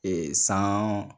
Ee san